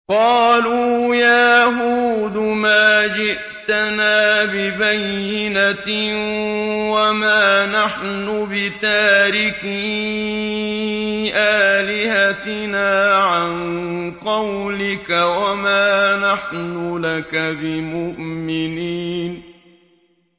قَالُوا يَا هُودُ مَا جِئْتَنَا بِبَيِّنَةٍ وَمَا نَحْنُ بِتَارِكِي آلِهَتِنَا عَن قَوْلِكَ وَمَا نَحْنُ لَكَ بِمُؤْمِنِينَ